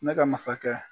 Ne ka masakɛ